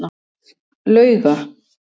Lauga